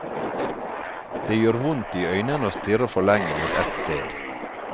Det gjør vondt i øynene å stirre for lenge mot ett sted.